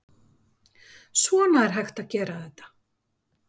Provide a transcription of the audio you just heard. Svona er hægt að gera þetta?